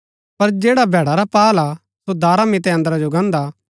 पर जैडा भैडा रा पाअल हा सो दारा मितै अन्दरा जो गान्दा